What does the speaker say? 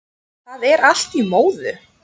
Það er allt í móðu